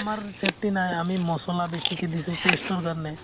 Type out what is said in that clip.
আমাৰ safety নাই । আমি মছলা বেছিকৈ দিছো taste ৰ কাৰণে